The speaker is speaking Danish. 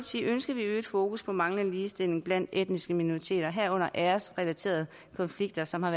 ønsker vi et øget fokus på manglende ligestilling blandt etniske minoriteter herunder æresrelaterede konflikter som har